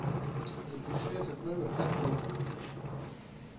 запиши этот номер как друг